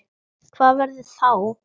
Hvað verður þá?